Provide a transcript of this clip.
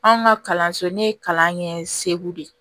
Anw ka kalanso ne ye kalan kɛ segu de